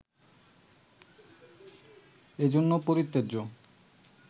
এজন্য পরিত্যাজ্য